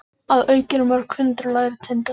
Að auki eru mörg hundruð lægri tindar.